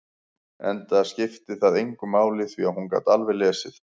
Enda skipti það engu máli, því að hún gat alveg lesið.